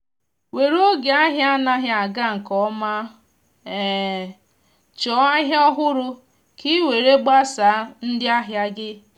were oge ahia anaghi aga nke ọma chọọ ahịa ọhụrụ ka ị were gbasaa ndị ahịa gị.